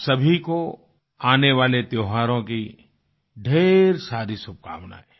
आप सभी को आने वाले त्योहारों की ढ़ेर सारी शुभकामनाएं